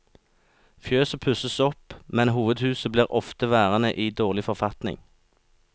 Fjøset pusses opp, men hovedhuset blir ofte værende i dårlig forfatning.